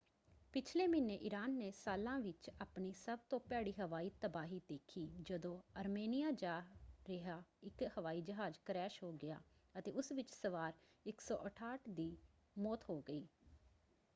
ਪਿਛਲੇ ਮਹੀਨੇ ਈਰਾਨ ਨੇ ਸਾਲਾਂ ਵਿੱਚ ਆਪਣੀ ਸਭ ਤੋਂ ਭੈੜੀ ਹਵਾਈ ਤਬਾਹੀ ਦੇਖੀ ਜਦੋਂ ਅਰਮੇਨੀਆਂ ਜਾ ਰਿਹਾ ਇੱਕ ਹਵਾਈ ਜਹਾਜ਼ ਕਰੈਸ਼ ਹੋ ਗਿਆ ਅਤੇ ਉਸ ਵਿੱਚ ਸਵਾਰ 168 ਦੀ ਮੌਤ ਹੋ ਗਈ।